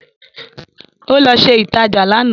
Ó lọ ṣe ìtajà lánàá